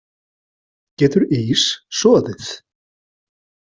Getur ís soðið?